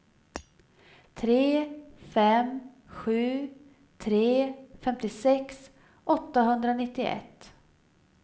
tre fem sju tre femtiosex åttahundranittioett